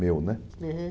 Meu, né? Aham